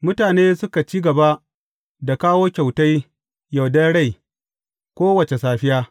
Mutane suka ci gaba da kawo kyautai yardar rai kowace safiya.